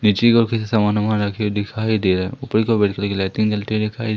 नीचे काफी से समान अमान रखे हुए दिखाई दे रहे हैं ऊपर की ओर लाइटें जलती हुई दिखाई--